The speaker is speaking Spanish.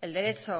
el derecho